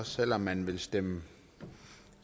selv om man vil stemme